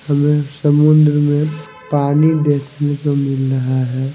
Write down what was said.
हमें समुद्र में पानी देखने को मिल रहा है।